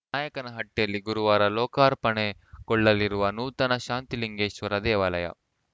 ನಾಯಕನಹಟ್ಟಿಯಲ್ಲಿ ಗುರುವಾರ ಲೋಕಾರ್ಪಣೆಗೊಳ್ಳಲಿರುವ ನೂತನ ಶಾಂತಲಿಂಗೇಶ್ವರ ದೇವಾಲಯ